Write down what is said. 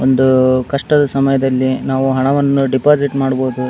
ಒಂದು ಕಷ್ಟದ ಸಮಯದಲ್ಲಿ ನಾವು ಹಣವನ್ನು ಡೆಪಾಸಿಟ್ ಮಾಡಬಹುದು .